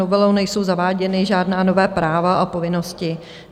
Novelou nejsou zaváděna žádná nová práva a povinnosti.